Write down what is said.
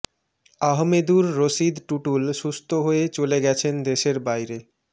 আহমেদুর রশীদ টুটুল সুস্থ হয়ে চলে গেছেন দেশের বাইরে